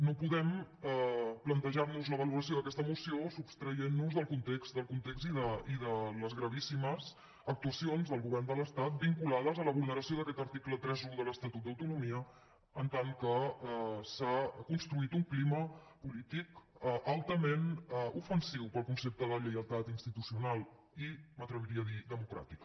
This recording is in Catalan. no podem plantejar nos la valoració d’aquesta moció sostraient nos del context i de les gravíssimes actuacions del govern de l’estat vinculades a la vulneració d’aquest article trenta un de l’estatut d’autonomia en tant que s’ha construït un clima polític altament ofensiu per al concepte de lleialtat institucional i m’atreviria a dir democràtica